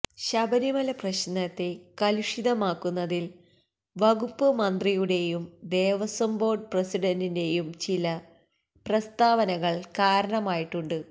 ശബരിമല പ്രശ്നത്തെ കലുഷിതമാക്കുന്നതില് വകുപ്പ് മന്ത്രിയുടേയും ദേവസ്വം ബോര്ഡ് പ്രസിഡന്റിന്റേയും ചില പ്രസ്താവനകള് കാരണമായിട്ടുണ്ട്